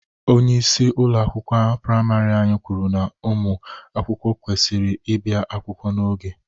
Onyeisi ụlọ akwụkwọ priamarị anyị kwuru na ụmụ akwụkwọ kwesịrị ịbịa akwụkwọ n'oge.